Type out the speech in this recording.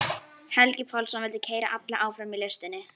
Helgi Pálsson vildi keyra alla áfram í listinni.